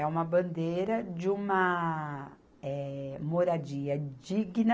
É uma bandeira de uma eh, moradia digna